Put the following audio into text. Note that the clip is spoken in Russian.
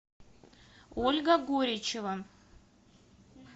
ольга гуричева